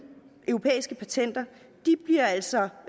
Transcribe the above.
europæiske patenter bliver altså